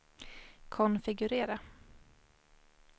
konfigurera